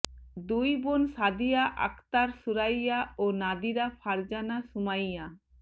দুই বোন সাদিয়া আক্তার সুরাইয়া ও নাদিরা ফারজানা সুমাইয়া